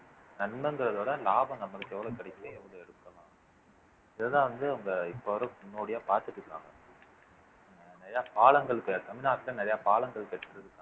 நன்மைங்கிறதை விட லாபம் நம்மளுக்கு எவ்வளவு கிடைக்குதோ எவ்வளவு இதுதான் வந்து அவங்க இப்ப வர முன்னோடியா பார்த்துட்டு இருக்காங்க நிறைய பாலங்கள் தமிழ்நாட்டுல நிறைய பாலங்கள்